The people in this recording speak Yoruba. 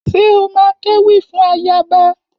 Ṣé o má kéwì fún ayaba?